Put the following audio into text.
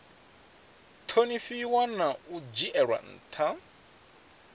ṱhonifhiwa na u dzhielwa nṱha